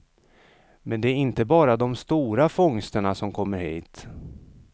Men det är inte bara de stora fångsterna som kommer hit.